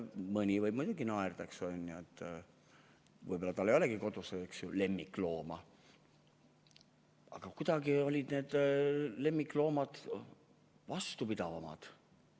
Mõni võib muidugi naerda, eks ole, võib-olla tal ei ole kodus lemmiklooma, aga kuidagi olid meie lemmikloomad varasematel aegadel vastupidavamad.